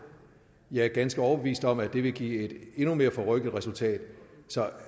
jeg er ganske overbevist om at det ville give et endnu mere forrykket resultat så